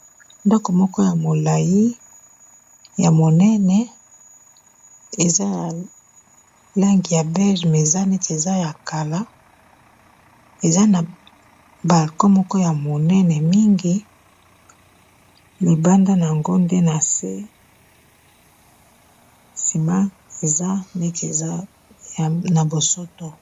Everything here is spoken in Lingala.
ndako moko ya molai ya monene eza na langi ya bege miza neti eza ya kala eza na bako moko ya monene mingi libanda na yango nde na se nsima eza neti eza na bosoto